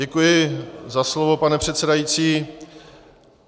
Děkuji za slovo, pane předsedající.